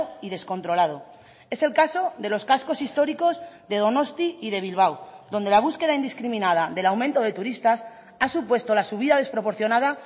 y descontrolado es el caso de los cascos históricos de donosti y de bilbao donde la búsqueda indiscriminada del aumento de turistas ha supuesto la subida desproporcionada